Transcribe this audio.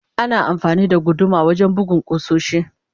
Ana amfani da guduma wajen bugun kusoshi.